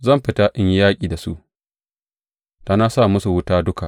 Zan fita in yi yaƙi da su; da na sa musu wuta duka.